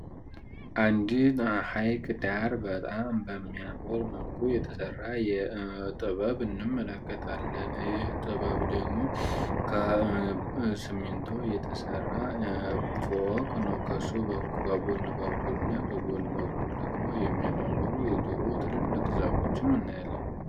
አንዲ ሐይክ ዳር በጣም በሚያምር መልቁ የተሠራ የጥበብ እንምለከታለን እይህ ጥበብ ደግሞ ከስሜንቶ የተሠራ ፎወቅ ኖ ከሱ ከጎን በኩል እና ከጎን በኩል ደግሞ የሚያመምሩ የድሩ ትልልቅ ዛፎችም አሉ፡፡